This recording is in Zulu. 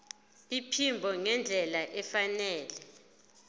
iphimbo ngendlela efanele